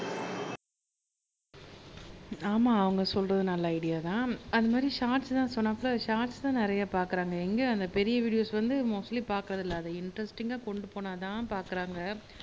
ஆமா அவங்க சொல்றது நல்ல ஐடியாதான் அது மாதிரி ஷாட்ஸ்தான் சொன்னாப்ல ஷாட்ஸ்தான் நிறைய பாக்குறாங்க எங்க அந்த பெரிய வீடியோஸ் வந்து மோஸ்ட்லி பாக்குறது இல்லை அதை இன்டரஸ்டிங்கா கொண்டு போனா தான் பாக்குறாங்க